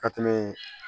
Ka tɛmɛ